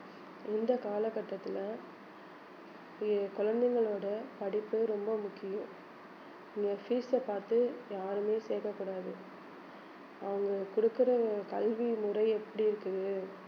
இந்த கால கட்டத்துல எ~ குழந்தைங்களோட படிப்பு ரொம்ப முக்கியம் இனி fees அ பார்த்து யாருமே சேர்க்க கூடாது அவங்க கொடுக்கிற கல்வி முறை எப்படி இருக்குது